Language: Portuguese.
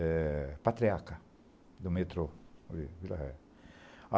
É patriarca do metrô Vila Ré.